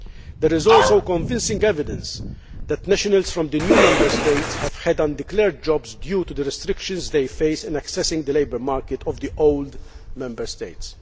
There is also convincing evidence that nationals from the new Member States have had undeclared jobs due to the restrictions they face in accessing the labour market of the old' Member States.